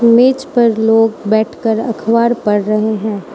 मेज पर लोग बैठकर अखबार पढ़ रहे है।